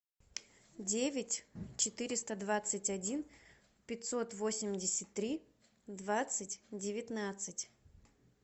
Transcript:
девять четыреста двадцать один пятьсот восемьдесят три двадцать девятнадцать